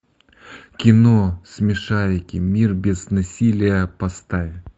кино смешарики мир без насилия поставь